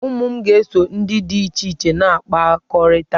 Ụmụ m ga-eso ndị dị iche iche na-akpakọrịta.